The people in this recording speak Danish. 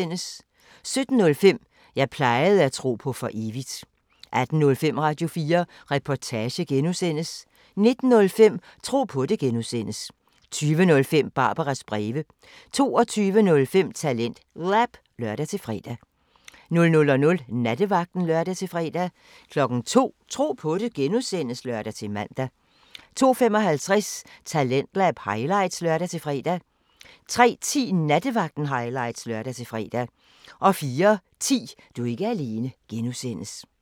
17:05: Jeg plejede at tro på for evigt 18:05: Radio4 Reportage (G) 19:05: Tro på det (G) 20:05: Barbaras breve 22:05: TalentLab (lør-fre) 00:00: Nattevagten (lør-fre) 02:00: Tro på det (G) (lør-man) 02:55: Talentlab highlights (lør-fre) 03:10: Nattevagten highlights (lør-fre) 04:10: Du er ikke alene (G)